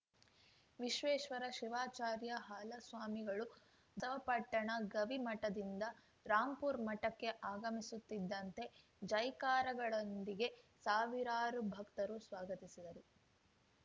ವಿಶ್ವೇಶ್ವರ ಶಿವಾಚಾರ್ಯ ಹಾಲಸ್ವಾಮಿಗಳು ಬಸವಪಟ್ಟಣ ಗವಿ ಮಠದಿಂದ ರಾಂಪುರ್ ಮಠಕ್ಕೆ ಆಗಮಿಸುತ್ತಿದ್ದಂತೆ ಜೈಕಾರಗಳೊಂದಿಗೆ ಸಾವಿರಾರು ಭಕ್ತರು ಸ್ವಾಗತಿಸಿದರು